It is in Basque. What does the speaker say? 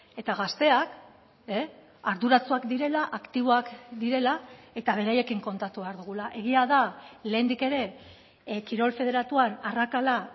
eta gazteak arduratsuak direla aktiboak direla eta beraiekin kontatu behar dugula egia da lehendik ere kirol federatuan arrakala